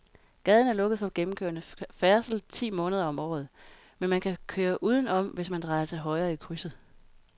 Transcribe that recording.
Gaden er lukket for gennemgående færdsel ti måneder om året, men man kan køre udenom, hvis man drejer til højre i krydset.